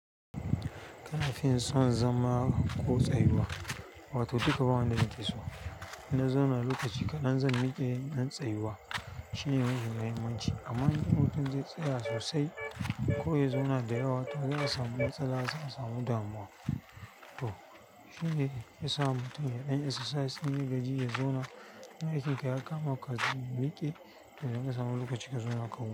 Kana fin so zama ko tsayuwa, wato duka ba wanda nake so. Ina zauna lokaci kaɗan zan miƙe nan tsayuwa shine mafi muhimma ci. Amma in lokacin zai tsaya sosai ko ya zauna da dayawa, to za'a samu matsala, za'a samu damuwa. To shine yasa mutum yaɗanyi exercise in ya gaji, ya zauna. In aikin ka ya kama ka, zan miƙe. To zai samu lokaci ka zauna kawai.